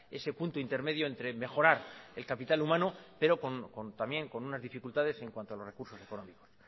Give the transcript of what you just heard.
ese punto intermedio entre mejorar el capital humano pero con también con unas dificultades en cuanto a los recursos económicos